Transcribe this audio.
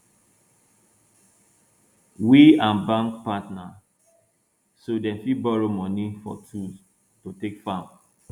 we and bank partner so dem fit borrow money for tools to take farm